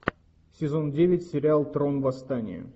сезон девять сериал трон восстание